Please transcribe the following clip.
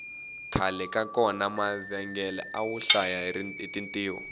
khale ka kona mavhengele awo hlaya hi tintiho